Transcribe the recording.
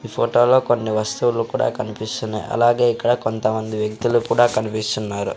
ఈ ఫోటో లో కొన్ని వస్తువులు కూడా కమిపిస్తున్నాయ్ అలాగే ఇక్కడ కొంత మంది వ్యక్తులు కూడా కనిపిస్తున్నారు.